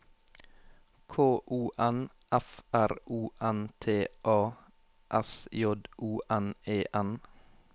K O N F R O N T A S J O N E N